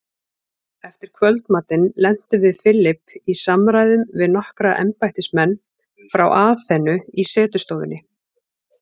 Eftir kvöldmatinn lentum við Philip í samræðum við nokkra embættismenn frá Aþenu í setustofunni.